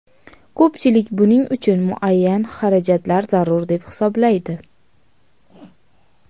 Ko‘pchilik buning uchun muayyan xarajatlar zarur deb hisoblaydi.